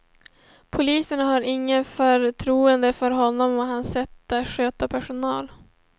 Poliserna har inget förtroende för honom och hans sätt att sköta personal.